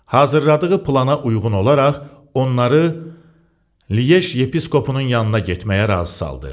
Hazırladığı plana uyğun olaraq onları Liej yepiskopunun yanına getməyə razı saldı.